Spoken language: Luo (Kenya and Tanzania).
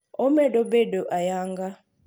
Omedo bedo ayanga